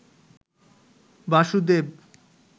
Basudeb